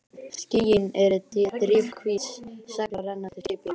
Skýin eru drifhvít segl á rennandi skipi.